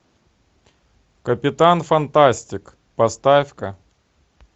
капитан фантастик поставь ка